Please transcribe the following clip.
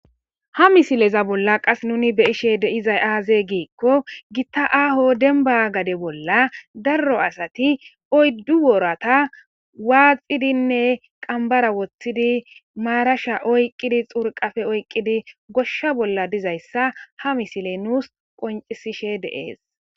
Ha misileza bolla qas nuni beyishe deizay aaze giikko gitta aaho denba gade bolla darro asati oyddu woorata waaxidinne qambara woththidi maarasha oyqqidi xurqafe oyqqidi goshsha bolla dizayssa ha misile nuus qoncisishe deees.